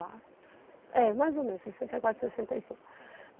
É, mais ou menos, sessenta e quatro, sessenta e cinco.